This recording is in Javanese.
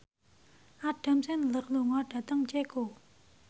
Adam Sandler lunga dhateng Ceko